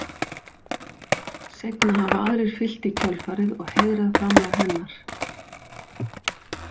Seinna hafa aðrir fylgt í kjölfarið og heiðrað framlag hennar.